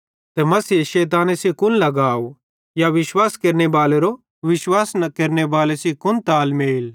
ते मसीहे शैताने सेइं कुन लगाव या विश्वाश केरनेबालेरो विश्वास न केरनेबाले सेइं कुन तालमेल